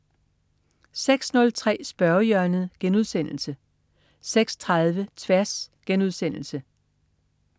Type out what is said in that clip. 06.03 Spørgehjørnet* 06.30 Tværs*